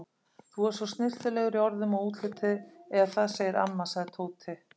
Þú ert svo snyrtilegur í orðum og útliti eða það segir amma, sagði Tóti.